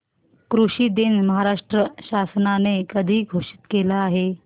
कृषि दिन महाराष्ट्र शासनाने कधी घोषित केला आहे